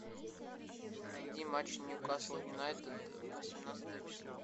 найди матч ньюкасл юнайтед восемнадцатое число